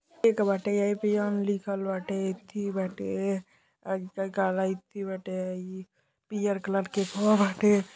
एक बाटे लिखल बाटे इथी बाटे इथी बाटे ई पियर कलर के बाटे।